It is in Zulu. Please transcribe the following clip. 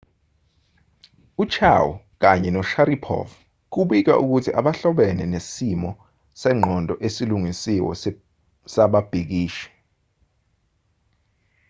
u-chiao kanye no-sharipov kubikwa ukuthi abahlobene nesimo sengqondo esilungisiwe sababhikishi